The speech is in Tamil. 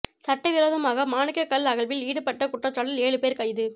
சட்டவிரோதமாக மாணிக்கக் கல் அகழ்வில் ஈடுபட்ட குற்றச்சாட்டில் ஏழுபேர் கைது